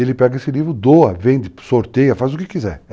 Ele pega esse livro, doa, vende, sorteia, faz o que quiser.